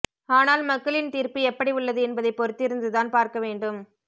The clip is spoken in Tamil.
ஆனால் மக்களின் தீர்ப்பு எப்படி உள்ளது என்பதை பொறுத்திருந்துதான் பார்க்க வேண்டும்